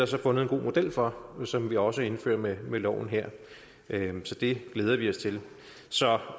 så fundet en god model for som vi også indfører med med loven her så det glæder vi os til så